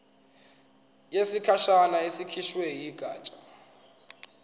yesikhashana ekhishwe yigatsha